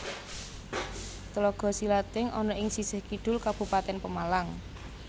Tlaga Silating ana ing sisih kidul Kabupatèn Pemalang